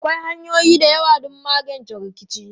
Akwai hanyoyi da yawa don magance rikici.